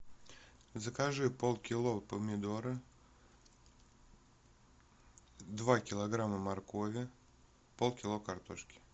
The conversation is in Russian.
закажи полкило помидоры два килограмма моркови полкило картошки